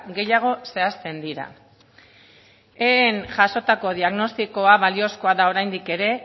gehiago zehazten dira eeen jasotako diagnostikoa baliozkoa da oraindik ere